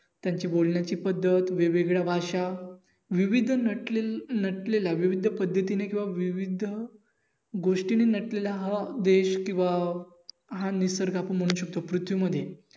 त्यांची बोलण्याची पद्धत, वेगवेगळ्या भाषा वैविध्य नटलेलय नटलेल्या वैविध्य पद्धतीने किंव्हा वैविध्य गोष्टीने नटलेल्या हा देश किंव्हा हा निसर्ग आपण म्हणू शकतो पृथ्वीमध्ये